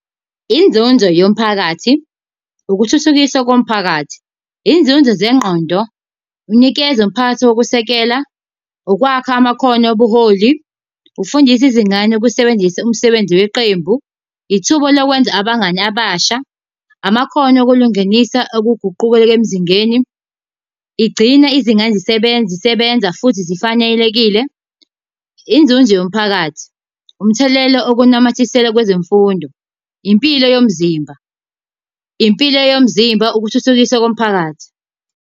Inzuzo yomphakathi ukuthuthukisa komphakathi. Inzuzo zengqondo, unikeza umphakathi wokusekela, okwakha amakhono obuholi, ukufundisa izingane ukusebenzisa umsebenzi weqembu, ithuba lokwenza abangani abasha, amakhono okulungenisa okuguquka emzingeni. Igcina izingane zisebenza zisebenza futhi zifanelekile. Inzuzo yomphakathi umthelela okunamathisela kwezemfundo, impilo yomzimba, impilo yomzimba, ukuthuthukisa komphakathi.